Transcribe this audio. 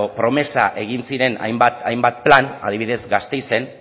promesa egin ziren hainbat plan adibidez gasteizen